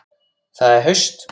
Það er haust.